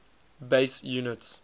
base units